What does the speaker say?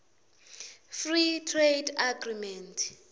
free trade agreement